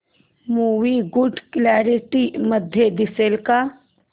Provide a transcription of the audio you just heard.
movie good quality मध्ये दिसेल का